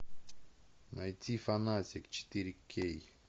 найти фанатик четыре кей